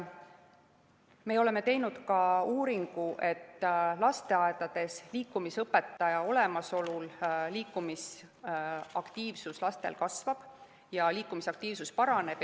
Me oleme teinud ka uuringu, et lasteaedades liikumisõpetaja olemasolu korral laste liikumisaktiivsus paraneb.